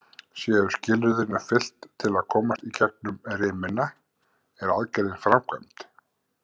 Séu skilyrðin uppfyllt til að komast í gegnum rimina, er aðgerðin framkvæmd.